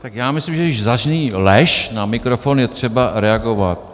Tak já myslím, že když zazní lež na mikrofon, je třeba reagovat.